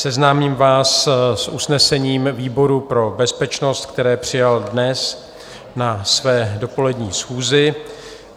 Seznámím vás s usnesením výboru pro bezpečnost, které přijal dnes na své dopolední schůzi: